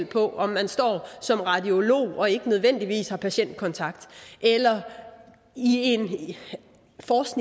på om man står som radiolog og ikke nødvendigvis har patientkontakt eller er i